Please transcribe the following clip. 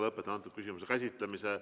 Lõpetan antud küsimuse käsitlemise.